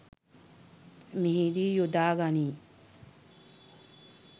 මෙහිදී යොදා ගනී.